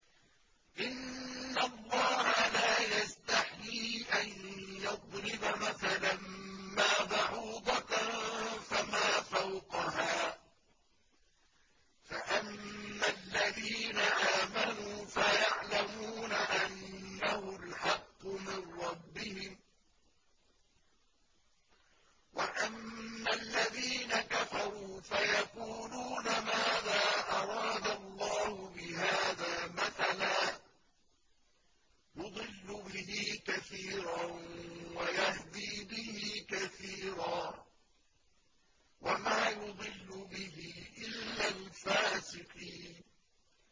۞ إِنَّ اللَّهَ لَا يَسْتَحْيِي أَن يَضْرِبَ مَثَلًا مَّا بَعُوضَةً فَمَا فَوْقَهَا ۚ فَأَمَّا الَّذِينَ آمَنُوا فَيَعْلَمُونَ أَنَّهُ الْحَقُّ مِن رَّبِّهِمْ ۖ وَأَمَّا الَّذِينَ كَفَرُوا فَيَقُولُونَ مَاذَا أَرَادَ اللَّهُ بِهَٰذَا مَثَلًا ۘ يُضِلُّ بِهِ كَثِيرًا وَيَهْدِي بِهِ كَثِيرًا ۚ وَمَا يُضِلُّ بِهِ إِلَّا الْفَاسِقِينَ